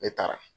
Ne taara